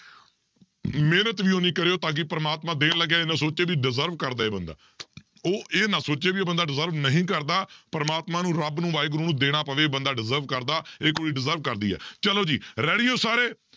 ਮਿਹਨਤ ਵੀ ਉੱਨੀ ਕਰਿਓ ਤਾਂ ਕਿ ਪ੍ਰਮਾਤਮਾ ਦੇਣ ਲੱਗਿਆ ਸੋਚੇ ਵੀ deserve ਕਰਦਾ ਇਹ ਬੰਦਾ ਉਹ ਇਹ ਨਾ ਸੋਚੇ ਵੀ ਇਹ ਬੰਦਾ deserve ਨਹੀਂ ਕਰਦਾ, ਪਰਮਾਤਮਾ ਨੂੰ ਰੱਬ ਨੂੰ ਵਾਹਿਗੁਰੂ ਨੂੰ ਦੇਣਾ ਪਵੇ ਬੰਦਾ deserve ਕਰਦਾ ਇਹ ਕੁੜੀ deserve ਕਰਦੀ ਆ, ਚਲੋ ਜੀ ready ਹੋ ਸਾਰੇ